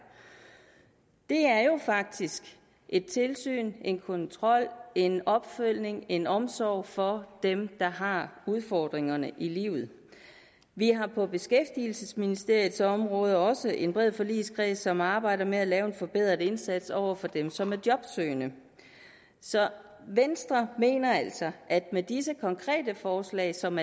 det er jo faktisk et tilsyn en kontrol en opfølgning en omsorg for dem der har udfordringer i livet vi har på beskæftigelsesministeriets område også en bred forligskreds som arbejder med at lave en forbedret indsats over for dem som er jobsøgende så venstre mener altså at med disse konkrete forslag som